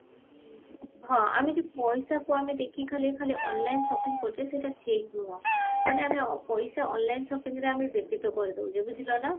ଆମେ ଯୋଉ ପଇସାକୁ ଆମେ ଦେଖିକି ଖାଲି ଖାଲି online shopping କରୁଚେ ସେଟ ଠିକ ନୁହ ମାନେ ଆମେ ପଇସା online shoppingରେ ଆମେ ବ୍ୟତୀତ କରିଦଉଛୁ ବୁଝିଲ ନା